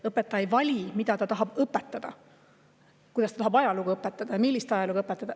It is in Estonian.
Õpetaja ei vali, mida ta tahab õpetada, kuidas ta tahab ajalugu õpetada ja millist ajalugu õpetada.